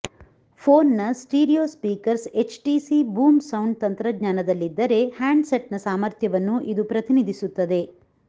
ಫೋನ್ನ stereo speakers HTC boom sound ತಂತ್ರಜ್ಞಾನದಲ್ಲಿದ್ದರೆ ಹ್ಯಾಂಡ್ಸೆಟ್ನ ಸಾಮರ್ಥ್ಯವನ್ನು ಇದು ಪ್ರತಿನಿಧಿಸುತ್ತದೆ